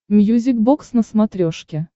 мьюзик бокс на смотрешке